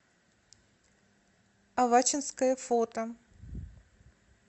авачинское фото